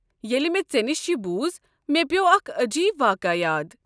ییٚلہ مےٚ ژےٚ نِش یہِ بوٗز مےٚ پیوٚو اكھ عجیب واقع یاد۔